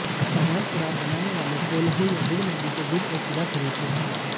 अवैध शराब बनाने वाले कोल्हू या गुड़ मंडी से गुड़ और शीरा खरीदते हैं